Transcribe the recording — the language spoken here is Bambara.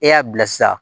E y'a bilasira